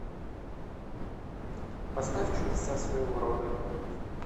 поставь чудеса своего рода